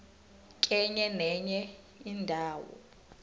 kenye nenye indawo